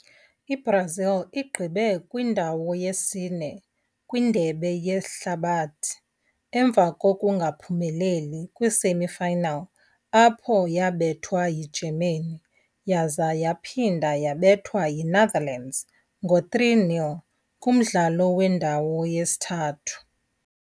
IBrazil igqibe kwindawo yesine kwiNdebe yeHlabathi emva kongungaphumeleli kwii-semi final apho yabethwa yiGermany, yaza yaphinda yabethwa yiNetherlands ngo3-0, kumdlalo wendawo yesithathu.